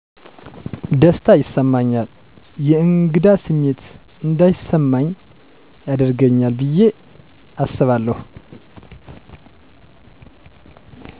ደስታ ይሰማኛል የእንግዳ ስሜት እንዳይስማኚ ያደርገኛል ብየ አስባለሁ።